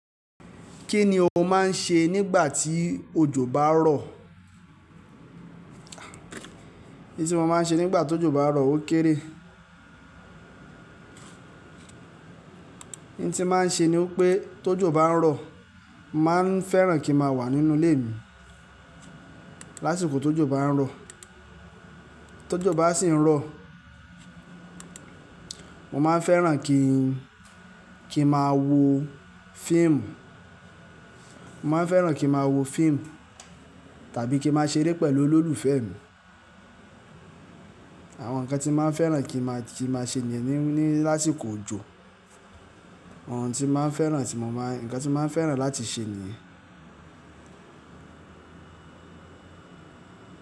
Kí ni o máà ń ṣe nígbà tí òjò bá rọ̀? In tí mo máa ń ṣe nígbà tó jò bá ń rọ̀ ó kéré. Ń tí mo máa ń ṣe ni pé tó jò bá ń rọ̀, mo máa ń fẹ́ràn kí n máa wà nínú ilé mi lásìkò tó jò bá ń rọ̀. Tó jò bá sì ń rọ̀, mo máa ń fẹ́ràn kí, kí n máa wo fíìmù, mo máa ń fẹ́ràn kí n máa wo fíìmù tàbí kí n máa ṣeré pẹ̀lú olólùfẹ́ mi. Àwọn nǹkan tí mo máa ń fẹ́ràn kí, kí n máa ṣe nìyẹn ní, ní lásìkò òjò. Àwọn ohun tí mo máa ń fẹ́ràn tí mo máa ń, nǹkan tí mo máa ń fẹ́ràn láti ṣe nìyẹn.